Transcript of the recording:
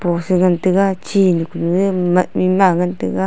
post a ngan taiga chi mat maw ngan taiga.